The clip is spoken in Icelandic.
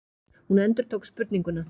Hún endurtók spurninguna.